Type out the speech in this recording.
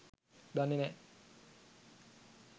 දන්නේ නැ.